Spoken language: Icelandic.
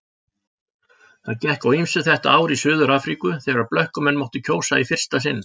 Það gekk á ýmsu þetta ár í Suður-Afríku þegar blökkumenn máttu kjósa í fyrsta sinn.